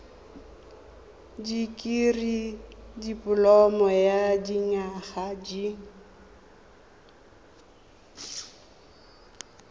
dikirii dipoloma ya dinyaga di